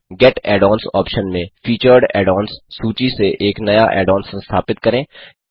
gate add ons option में featured add ons सूची से एक नया ऐड ऑन संस्थापित करें